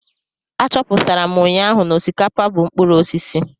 Achọpụtara m ụnyaahụ na osikapa bụ mkpụrụ osisi.